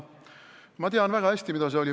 Ma tean väga hästi, kuidas see oli.